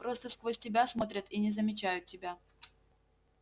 просто сквозь тебя смотрят и не замечают тебя